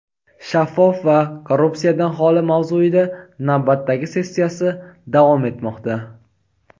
shaffof va korrupsiyadan xoli mavzuida navbatdagi sessiyasi davom etmoqda.